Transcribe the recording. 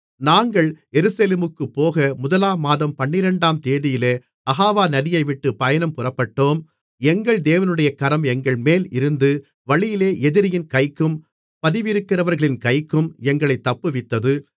நாங்கள் எருசலேமுக்குப்போக முதலாம் மாதம் பன்னிரண்டாம் தேதியிலே அகாவா நதியைவிட்டுப் பயணம் புறப்பட்டோம் எங்கள் தேவனுடைய கரம் எங்கள்மேலிருந்து வழியிலே எதிரியின் கைக்கும் பதிவிருக்கிறவர்களின் கைக்கும் எங்களைத் தப்புவித்தது